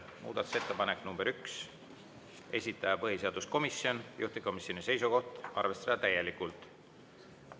Muudatusettepanek nr 1, esitaja põhiseaduskomisjon, juhtivkomisjoni seisukoht: arvestada täielikult.